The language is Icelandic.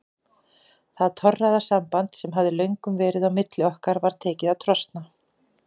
Það torræða samband sem hafði löngum verið á milli okkar var tekið að trosna.